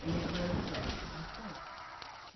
E não tinha brigado, estava só ele.